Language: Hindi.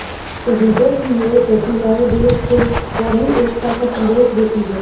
शहीदों की ये प्रतिमाएं देश को कौमी एकता का संदेश देती है